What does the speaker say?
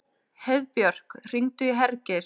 Heiðbjörk, hringdu í Hergeir.